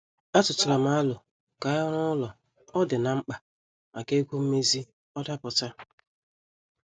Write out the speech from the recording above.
Atutaram alo ka anyị ruo ụlọ ọ dị na- mkpa maka ego mmezi ọ daputa.